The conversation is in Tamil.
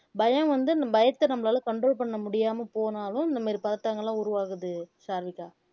பயம் வந்து இந்த பயத்தை நம்மளால control பண்ண முடியாம போனாலும் இந்த மாதிரி பதற்றங்கள் எல்லாம் உருவாகுது சாருவிக்கா